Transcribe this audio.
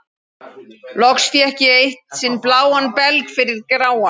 Loks fékk ég eitt sinn bláan belg fyrir gráan.